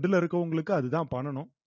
இதுல இருக்கவங்களுக்கு அதுதான் பண்ணணும்